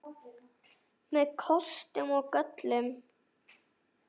Með kostum og göllum.